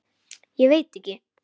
Ég veit ekki